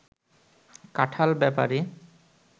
কাঁঠাল-বেপারী